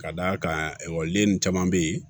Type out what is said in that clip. Ka d'a kan ekɔliden ninnu caman bɛ yen